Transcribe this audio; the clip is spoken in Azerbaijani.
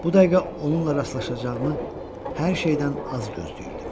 Bu dəqiqə onunla rastlaşacağımı hər şeydən az gözləyirdim.